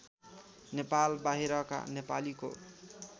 नेपाल बाहिरका नेपालीको